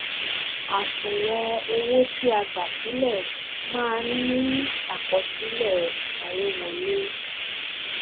àṣùwòn owó ti a gbà sílẹ máa ń ní àkọsílẹ ìsanwówọlé